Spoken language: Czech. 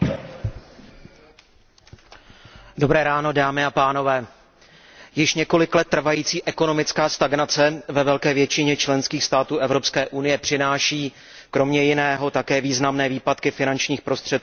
Pane předsedající, již několik let trvající ekonomická stagnace ve velké většině členských států Evropské unie přináší kromě jiného také významné výpadky finančních prostředků na příjmové straně státních rozpočtů.